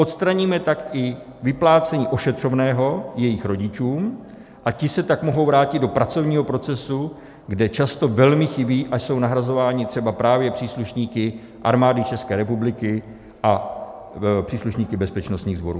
Odstraníme tak i vyplácení ošetřovného jejich rodičům a ti se tak mohou vrátit do pracovního procesu, kde často velmi chybí a jsou nahrazováni třeba právě příslušníky Armády České republiky a příslušníky bezpečnostních sborů.